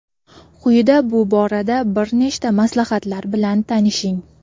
Quyida bu borada bir nechta maslahatlar bilan tanishing:.